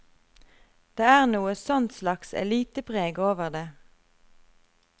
Det er noe sånt slags elitepreg over det.